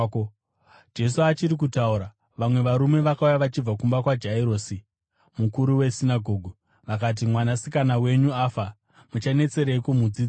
Jesu achiri kutaura, vamwe varume vakauya vachibva kumba kwaJairosi, mukuru wesinagoge. Vakati, “Mwanasikana wenyu afa. Muchanetsereiko mudzidzisi?”